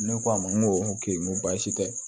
Ne k'a ma n ko n ko baasi tɛ